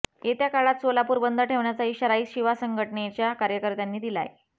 येत्या काळात सोलापूर बंद ठेवण्याचा इशाराही शिवा संघटनेच्या कार्यकर्त्यांनी दिलाय